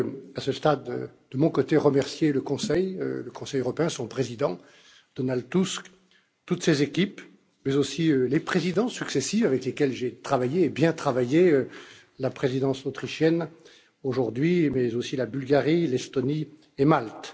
À ce stade, je veux de mon côté remercier le Conseil européen, son président, Donald Tusk, toutes ses équipes, mais aussi les présidents successifs avec lesquels j'ai travaillé et bien travaillé, la Présidence autrichienne aujourd'hui, mais aussi la Bulgarie, l'Estonie et Malte.